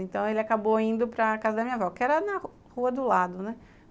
Então, ele acabou indo para casa da minha avó, que era na rua do lado, né?